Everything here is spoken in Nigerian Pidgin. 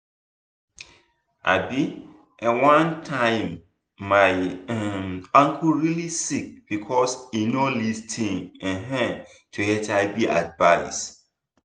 [um][um]one time my um uncle really sick because e no lis ten um to hiv advice